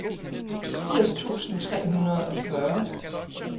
firs tusind tre hundrede og fyrre